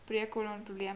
breuk kolon probleme